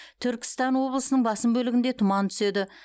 түркістан облысының басым бөлігінде тұман түседі